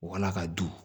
Wala ka dun